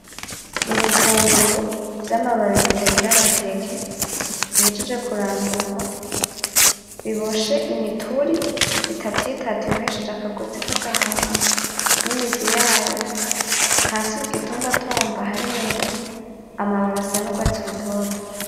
Ibitunguru vy'amababi bitagira amateke bihejeje kurandurwa, biboshe imituri itatu itatu ibohesheje akagozi k'agahama n'imizi yayo , hasi kugitumbatumba harera, amababi asa n'urwatsi rutoto.